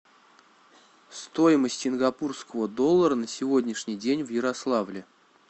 стоимость сингапурского доллара на сегодняшний день в ярославле